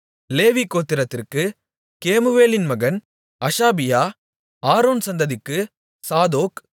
லேவி கோத்திரத்திற்கு கேமுவேலின் மகன் அஷாபியா ஆரோன் சந்ததிக்கு சாதோக்